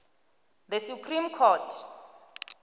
the supreme court